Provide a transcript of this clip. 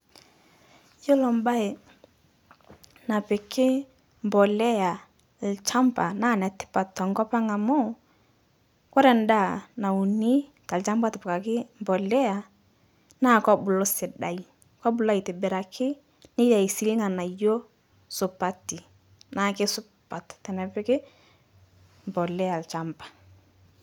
Yuolo baye napiki mbolea lchamba naa netipat tenkopang' amu, kore ndaa nauni te lchamba lotipikaki mbolea naa kebulu sidai, kobulu aitibiraki, netii sii lng'anayo supati, naa keisupat tenepiki mbolea lchamba.